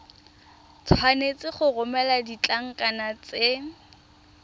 tshwanetse go romela ditlankana tse